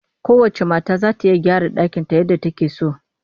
Kowacce mata za ta iya gyara ɗakinta yadda take so